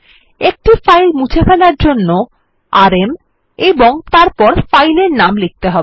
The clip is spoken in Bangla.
একটি ফাইল মুছে ফেলার জন্য আরএম এবং তারপর ফাইলের নাম লিখতে হবে